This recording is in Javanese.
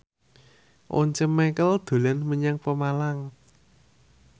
Once Mekel dolan menyang Pemalang